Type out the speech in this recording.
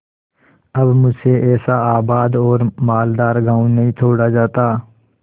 अब मुझसे ऐसा आबाद और मालदार गॉँव नहीं छोड़ा जाता